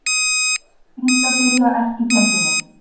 Fínt að byrja á erkifjendunum